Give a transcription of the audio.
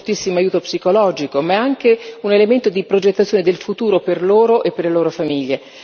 è un fortissimo aiuto psicologico ma è anche un elemento di progettazione del futuro per loro e per le loro famiglie.